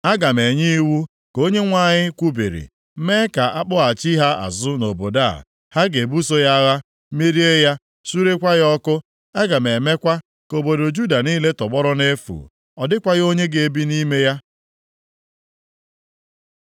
Aga m enye iwu, ka Onyenwe anyị kwubiri, mee ka a kpọghachi ha azụ nʼobodo a. Ha ga-ebuso ya agha, merie ya, surekwaa ya ọkụ. Aga m emekwa ka obodo Juda niile tọgbọrọ nʼefu. Ọ dịkwaghị onye ga-ebi nʼime ya.”